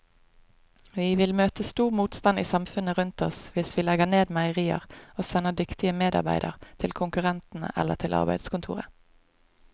Vi vil møte stor motstand i samfunnet rundt oss hvis vi legger ned meierier og sender dyktige medarbeidere til konkurrentene eller til arbeidskontoret.